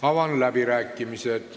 Avan läbirääkimised.